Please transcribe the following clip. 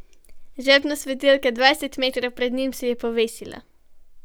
Žepna svetilka dvajset metrov pred njim se je povesila.